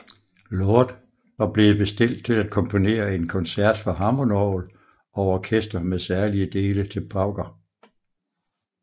Lord var blevet bestilt til at komponere en koncert for hammondorgel og orkester med særlige dele til pauker